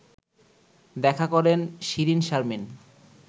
দেখা করেন শিরীনশারমিন